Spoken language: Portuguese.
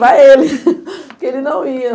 Para ele, porque ele não ia.